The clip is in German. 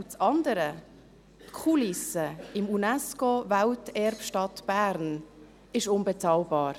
Das andere: Die Kulisse des Unesco-Welterbe Stadt Bern ist unbezahlbar.